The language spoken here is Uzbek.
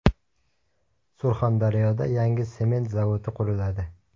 Surxondaryoda yangi sement zavodi quriladi.